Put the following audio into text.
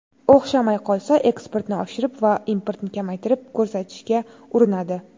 O‘xshamay qolsa, eksportni oshirib va importni kamaytirib ko‘rsatishga urinadi.